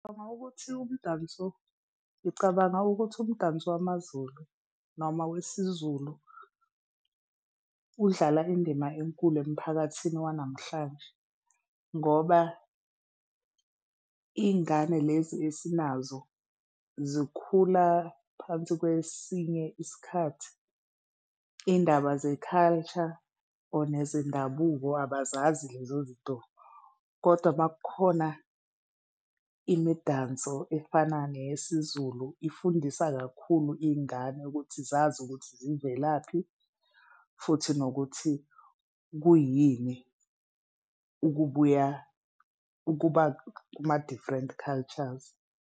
Ngicabanga ukuthi umdanso wamaZulu noma wesiZulu udlala indima enkulu emphakathini wanamhlanje ngoba iy'ngane lezi esinazo zikhula phansi kwesinye isikhathi, izindaba ze-culture or nezendabuko abazazi lezo zinto kodwa ma kukhona imidanso efana neyesiZulu, ifundisa kakhulu izingane ukuthi zazi ukuthi zivelaphi futhi nokuthi kuyini ukubuya ukuba kuma different cultures.